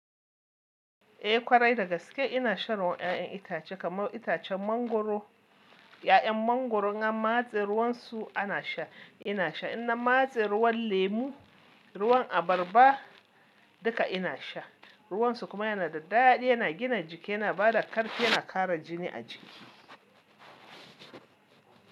Eh ƙwarai dagaske ina shan ruwan 'ya'yan itace kamar itacen mangwaro. 'Ya'yan mangwaron in an matse ruwan su ana sha. Ina sha. Ina matse ruwan lemu, ruwan abarba duka ina sha. Ruwan su kuma yana da daɗi, yana gina jiki, yana ba da ƙarfi, yana ƙara jini a jiki.